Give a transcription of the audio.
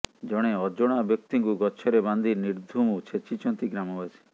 ଜଣେ ଅଜଣା ବ୍ୟକ୍ତିଙ୍କୁ ଗଛରେ ବାନ୍ଧି ନିର୍ଦ୍ଧୁମ ଛେଚିଛନ୍ତି ଗ୍ରାମବାସୀ